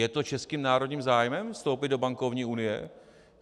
Je to českým národním zájmem, vstoupit do bankovní unie?